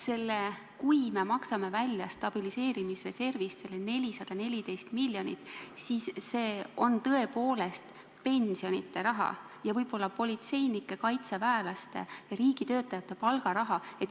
Kui me stabiliseerimisreservist selle 414 miljonit välja maksame, siis see on tõepoolest pensionide raha ja võib-olla politseinike, kaitseväelaste ja riigitöötajate palgaraha.